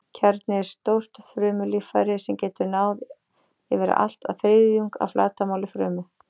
Kjarni er stórt frumulíffæri sem getur náð yfir allt að þriðjung af flatarmáli frumu.